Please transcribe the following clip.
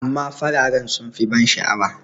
amma farare sun fi ban sha'awa